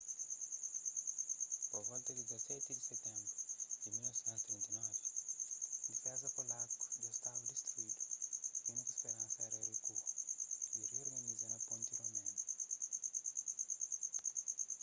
pa volta di 17 di sitenbru di 1939 difeza polaku dja staba distruidu y úniku speransa éra rikua y riorganiza na ponti romenu